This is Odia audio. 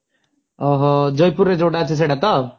ଓଃ ହୋ ଜୟପୁର ରେ ଯଉଟା ଅଛି ସେଇଟା ତ?